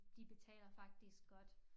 De betaler faktisk godt